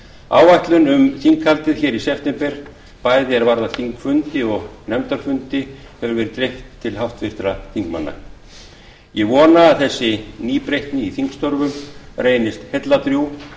áætlun um þinghaldið hér í september bæði er varðar þingfundi og nefndafundi hefur verið dreift til háttvirtra alþingismanna ég vona að þessi nýbreytni í þingstörfum reynist heilladrjúg